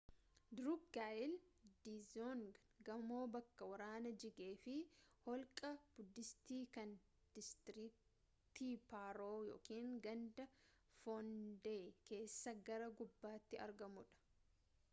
drukgyal dzong gamoo bakka waraana jigee fi holqa budiisti kan diistiriktii paarooganda foondey keessa gara gubbaatti argamuu dha